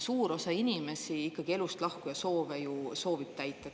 Suur osa inimesi ikkagi elust lahkuja soove ju soovib täita.